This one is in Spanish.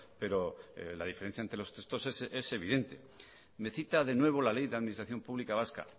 pero la diferencia entre los textos es evidente me cita de nuevo la ley de administración pública vasca